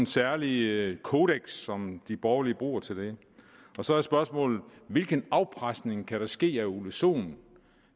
særlige kodekser som de borgerlige bruger til det så er spørgsmålet hvilken afpresning kan der ske af herre ole sohn